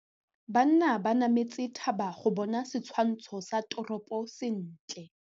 Banna ba nametse thaba go bona setshwantsho sa toropô sentle.